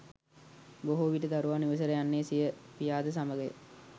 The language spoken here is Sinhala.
බොහෝ විට දරුවා නිවසට යන්නේ සිය පියාද සමගය